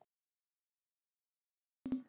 Þín Elín.